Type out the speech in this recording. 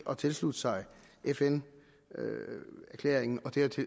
at tilslutte sig fn erklæringen